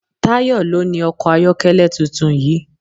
Tayọ ló ni ọkọ̀ ayọ́kẹ́lẹ́ tuntun yìí.